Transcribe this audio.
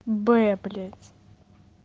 блять